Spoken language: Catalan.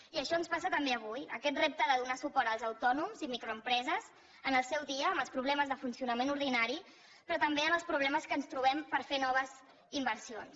i això ens passa també avui amb aquest repte de donar suport als autònoms i microempreses en el seu dia a dia amb els problemes de funcionament ordinari però també en els problemes que ens trobem per fer noves inversions